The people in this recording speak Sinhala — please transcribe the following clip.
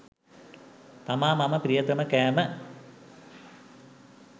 තමා මම ප්‍රියතම කෑම.